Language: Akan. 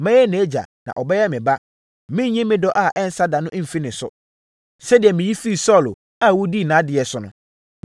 Mɛyɛ nʼagya na ɔbɛyɛ me ba. Merenyi me dɔ a ɛnsa da no mfiri ne so, sɛdeɛ meyi firii Saulo a wodii nʼadeɛ so no.